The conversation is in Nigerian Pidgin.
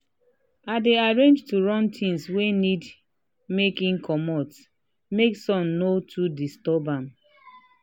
he dey arrange to run things wey need make him comot make sun no too disturb am.